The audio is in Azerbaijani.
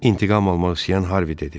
İntiqam almaq istəyən Harvi dedi: